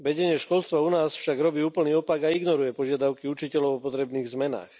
Vedenie školstva u nás však robí úplný opak a ignoruje požiadavky učiteľov o potrebných zmenách.